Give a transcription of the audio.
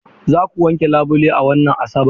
Za ku wanke labule a wannan Asabar?